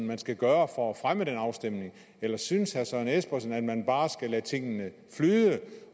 man skal gøre for at fremme den afstemning eller synes herre søren espersen at man bare skal lade tingene flyde